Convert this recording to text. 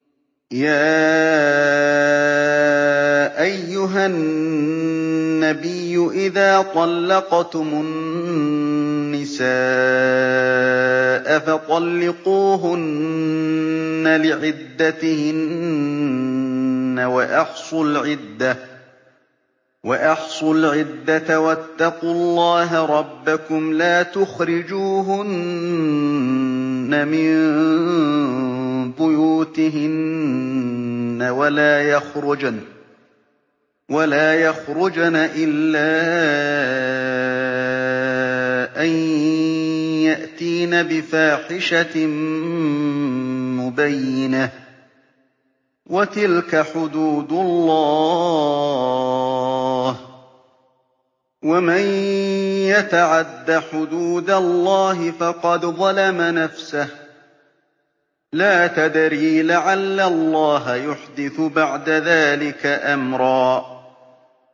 يَا أَيُّهَا النَّبِيُّ إِذَا طَلَّقْتُمُ النِّسَاءَ فَطَلِّقُوهُنَّ لِعِدَّتِهِنَّ وَأَحْصُوا الْعِدَّةَ ۖ وَاتَّقُوا اللَّهَ رَبَّكُمْ ۖ لَا تُخْرِجُوهُنَّ مِن بُيُوتِهِنَّ وَلَا يَخْرُجْنَ إِلَّا أَن يَأْتِينَ بِفَاحِشَةٍ مُّبَيِّنَةٍ ۚ وَتِلْكَ حُدُودُ اللَّهِ ۚ وَمَن يَتَعَدَّ حُدُودَ اللَّهِ فَقَدْ ظَلَمَ نَفْسَهُ ۚ لَا تَدْرِي لَعَلَّ اللَّهَ يُحْدِثُ بَعْدَ ذَٰلِكَ أَمْرًا